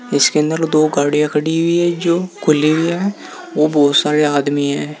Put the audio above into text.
इसके अंदर दो गाड़ियां खड़ी हुई है जो खुली हुई है और बहुत सारे आदमी है।